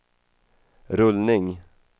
rullning